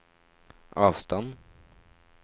avstand